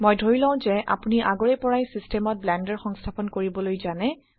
মই ধৰি লও যে আপোনি আগৰে পৰাই সিস্টেমত ব্লেন্ডাৰ সংস্থাপন কৰিবলৈ জানে